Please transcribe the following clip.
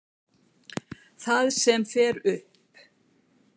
Það sem fer upp.